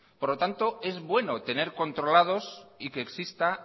por lo tanto es bueno tener controlados y que exista